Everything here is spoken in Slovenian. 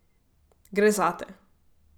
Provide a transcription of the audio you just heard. Gre zate.